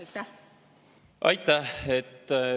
Aitäh!